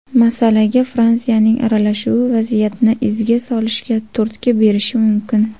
Masalaga Fransiyaning aralashuvi vaziyatni izga solishga turtki berishi mumkin.